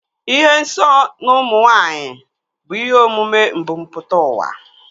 Ịhụ nsọ n'ụmụ nwaanyị bụ ihe omume mbumputauwa